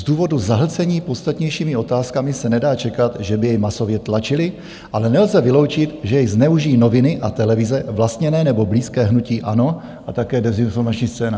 Z důvodu zahlcení podstatnějšími otázkami se nedá čekat, že by jej masově tlačily, ale nelze vyloučit, že jej zneužijí noviny a televize vlastněné nebo blízké hnutí ANO a také dezinformační scéna."